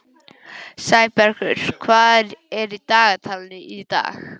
Sæbergur, hvað er í dagatalinu í dag?